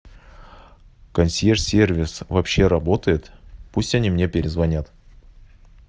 консьерж сервис вообще работает пусть они мне перезвонят